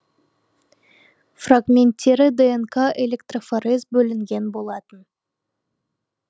фрагменттері днк электрофорез бөлінген болатын